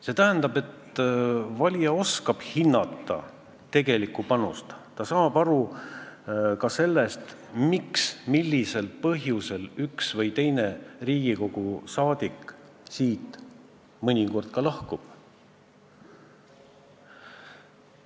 See tähendab, et valija oskab hinnata tegelikku panust ja ta saab aru ka sellest, millisel põhjusel üks või teine Riigikogu liige siit mõnikord lahkub.